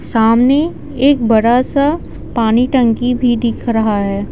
सामने एक बड़ा सा पानी टंकी भी दिख रहा है।